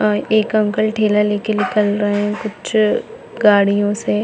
अ एक अंकल ठेला लेके निकल रहे है कुछ गाड़ियों से--